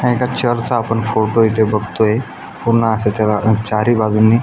हा एका चर्चचा आपण फोटो इथे बघतोय पूर्ण अस त्याला चारही बाजूने--